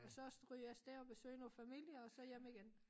Og så stryge afsted og besøge noget familie og så hjem igen